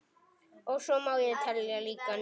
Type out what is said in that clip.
Og svo má lengi telja.